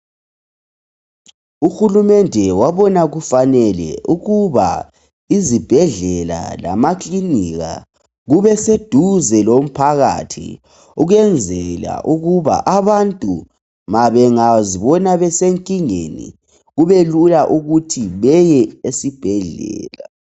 UHulumende wabona kufanele ukuba izibhedlela lamakilinika kubeseduze lomphakathi ukwenzela ukuba abantu bengazibona besenkingeni kube lula ukuba beye esibhedlela.